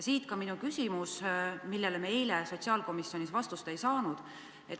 Siit ka minu küsimus, millele me eile sotsiaalkomisjonis vastust ei saanud.